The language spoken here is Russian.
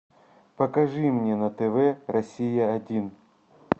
покажи мне на тв россия один